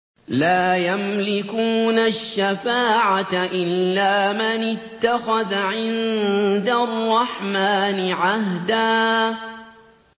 لَّا يَمْلِكُونَ الشَّفَاعَةَ إِلَّا مَنِ اتَّخَذَ عِندَ الرَّحْمَٰنِ عَهْدًا